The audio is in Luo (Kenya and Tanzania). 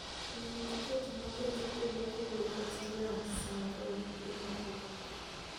nyiewo tiket ma gach okolokowuok westlands Nairobi dhi Nakuru